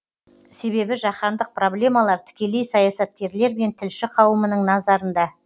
себебі жаһандық проблемалар тікелей саясаткерлер мен тілші қауымның назарында